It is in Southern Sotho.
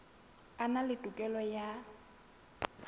a na le tokelo ya